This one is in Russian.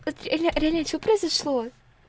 реле что произошло